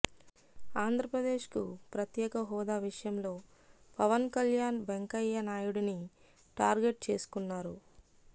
ఆంధ్రప్రదేశ్కు ప్రత్యేక హోదా విషయంలో పవన్ కల్యాణ్ వెంకయ్య నాయుడిని టార్గెట్ చేసుకున్నారు